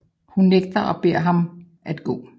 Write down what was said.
Hun nægter og beder ham at gå